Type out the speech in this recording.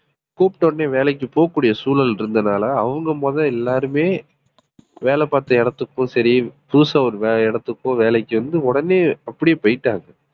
கூப்பிட்ட உடனே வேலைக்கு போகக்கூடிய சூழல் இருந்ததுனால அவங்க முதல் எல்லாருமே வேலை பார்த்த இடத்துக்கும் சரி புதுசா ஒரு இடத்துக்கோ வேலைக்கு வந்து உடனே அப்படியே போயிட்டாங்க